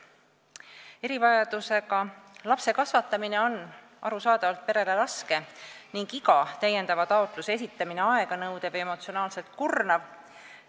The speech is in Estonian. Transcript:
Erivajadusega lapse kasvatamine on arusaadavalt perele raske ning iga täiendava taotluse esitamine aeganõudev ja emotsionaalselt kurnav.